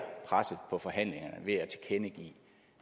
presset på forhandlingerne ved at tilkendegive